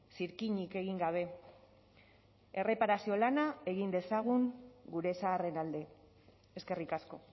zirkinik egin gabe erreparazio lana egin dezagun gure zaharren alde eskerrik asko